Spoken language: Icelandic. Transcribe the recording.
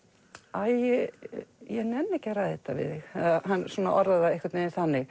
æi ég nenni ekki að ræða þetta við þig hann svona orðar það einhvern veginn þannig